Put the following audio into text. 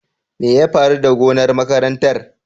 Me ya faru da gonar makarantar?